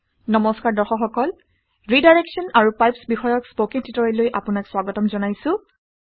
নমস্কাৰ দৰ্শক সকল ৰিডাইৰেক্সন আৰু পাইপছ বিষয়ক স্পকেন টিউটৰিয়েললৈ আপোনাক স্বাগতম জনাইছোঁ